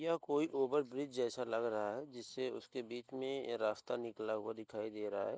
यह कोई ओवर-ब्रिज जैसा लग रहा है जिससे उसके बिच में रास्ता निकला हुआ दिखाई दे रहा है।